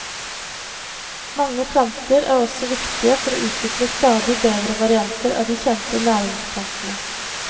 Mange planter er også viktige for å utvikle stadig bedre varianter av de kjente næringsplantene.